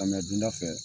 Ka na dunda fɛ